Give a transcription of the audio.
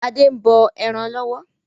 Adé ń bọ ẹran lọ́wọ́.